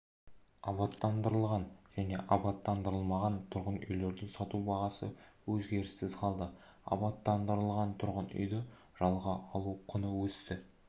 абаттандырылған және абаттандырылмаған тұрғын үйлерді сату бағасы өзгеріссіз қалды абаттандырылған тұрғын үйді жалға алу құны өсті